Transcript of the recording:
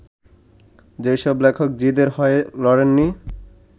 যেসব লেখক জিদের হয়ে লড়েন নি